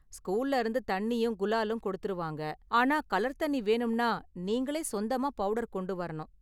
ஸ்கூல்ல இருந்து தண்ணியும் குலாலும் கொடுத்திருவாங்க, ஆனால் கலர் தண்ணி வேணும்னா நீங்களே சொந்தமா பவுடர் கொண்டு வரணும்.